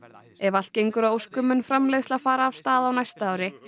ef allt gengur að óskum mun framleiðsla fara af stað á næsta ári